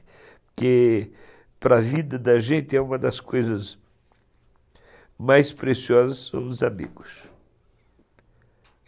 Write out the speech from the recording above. Porque para a vida da gente é uma das coisas mais preciosas são os amigos.